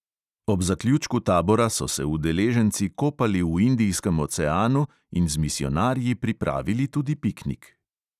Ob zaključku tabora so se udeleženci kopali v indijskem oceanu in z misijonarji pripravili tudi piknik.